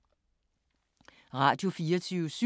Radio24syv